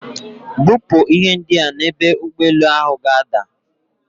Bupu ihe ndia n'ebu ugboelu ga-ada.